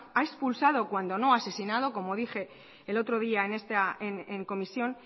ha expulsado cuando no asesinado como dije el otro día en comisión